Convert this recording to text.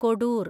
Kodoor